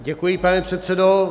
Děkuji, pane předsedo.